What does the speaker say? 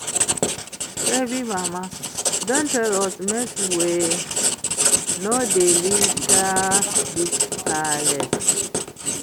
Shebi mama don tell us make we no dey litter dis place